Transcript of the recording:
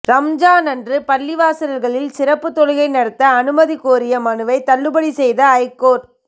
ரம்ஜான் அன்று பள்ளிவாசல்களில் சிறப்பு தொழுகை நடத்த அனுமதி கோரிய மனுவை தள்ளுபடி செய்தது ஐகோர்ட்